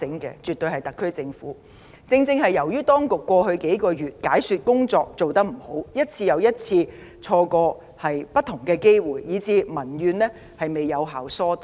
正正由於政府當局過去數月的解説工作做得不理想，又再三錯失不同機會，民怨才得不到有效疏導。